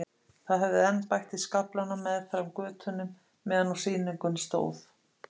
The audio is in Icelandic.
Það hafði enn bætt í skaflana meðfram götunum meðan á sýningunni stóð.